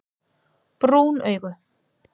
Brún augu